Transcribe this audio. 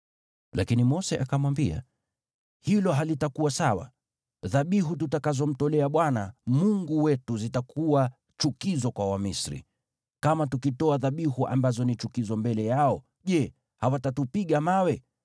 Lakini Mose akamwambia, “Hilo halitakuwa sawa. Dhabihu tutakazomtolea Bwana Mungu wetu zitakuwa chukizo kwa Wamisri. Kama tukitoa dhabihu ambazo ni chukizo mbele yao, je, hawatatupiga mawe?